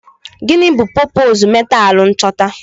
Gịnị bụ popoozu metaalu nchọta?